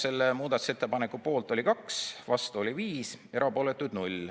Selle muudatusettepaneku poolt oli 2, vastu oli 5, erapooletuid 0.